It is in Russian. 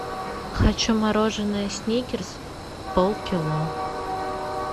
хочу мороженое сникерс пол кило